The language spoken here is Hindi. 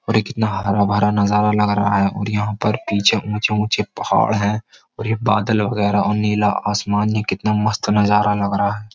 और ये कितना हरा भरा नजारा लग रहा है और यहां पर पीछे ऊंचे ऊंचे पहाड़ हैं और ये बादल वगैरह और नीला आसमान ये कितना मस्त नजारा लग रहा है।